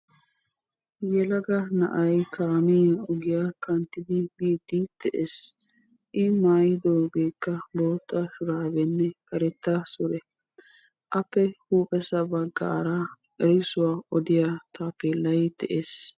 yelaga na'ay kaamiya ogiya kanttidi biidi de'es. appe huuphessa bagara erissuwa odiya taapeelay de'ees.